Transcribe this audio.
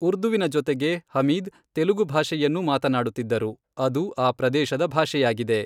ಉರ್ದುವಿನ ಜೊತೆಗೆ, ಹಮೀದ್ ತೆಲುಗು ಭಾಷೆಯನ್ನೂ ಮಾತನಾಡುತ್ತಿದ್ದರು, ಅದು ಆ ಪ್ರದೇಶದ ಭಾಷೆಯಾಗಿದೆ.